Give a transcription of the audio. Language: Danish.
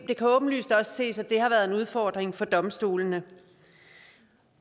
det kan åbenlyst også ses at det har været en udfordring for domstolene